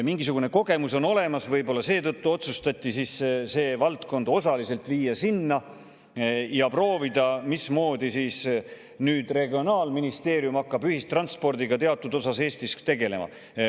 Mingisugune kogemus on tal olemas, nii et võib-olla seetõttu otsustati viia see valdkond osaliselt sinna ja proovida, mismoodi hakkab regionaalministeerium Eestis ühistranspordiga osaliselt tegelema.